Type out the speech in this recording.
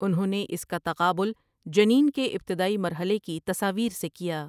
انہوں نے اس کا تقابل جنین کے ابتدائی مرحلے کی تصاویر سے کیا ۔